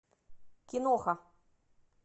киноха